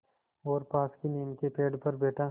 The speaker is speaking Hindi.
और पास की नीम के पेड़ पर बैठा